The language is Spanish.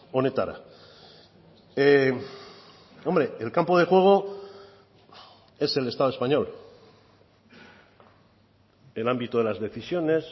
onetara hombre el campo de juego es el estado español el ámbito de las decisiones